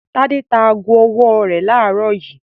Tádé ta ago-ọwọ́ rẹ̀ láàárọ̀ yìí.